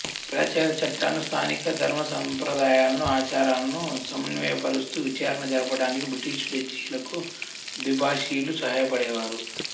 పాశ్చాత్య చట్టాలను స్థానిక ధర్మ సంప్రదాయాలను ఆచారాలను సమన్వయపరుస్తూ విచారణ జరపడానికి బ్రిటిషు జడ్జీలకు ద్విభాషీలు సహాయపడేవారు